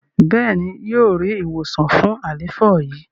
béèni yíò rí ìwòsàn fún àléfọ yi.